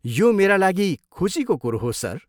यो मेरा लागि खुसीको कुरो हो, सर।